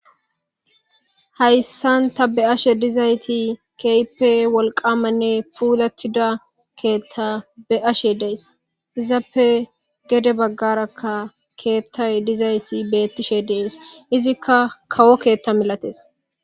hayssan ta be ashe dizayti keype wolqamanne puulatida keethta be7ashe dees izappe gede baggarakka keettay dizayssi bettishe dees izikka kawo keetta milates